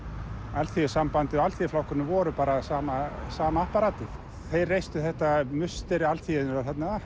Alþýðusambandið og Alþýðuflokkurinn voru bara sama sama apparatið þeir reistu þetta musteri alþýðunnar þarna